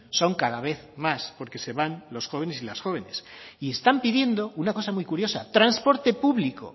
son cada vez más porque se van los jóvenes y las jóvenes y están pidiendo una cosa muy curiosa transporte público